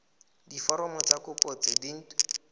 diforomo tsa kopo tse dint